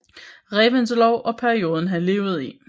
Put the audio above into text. Reventlow og perioden han levede i